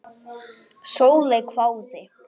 Sóley hváði.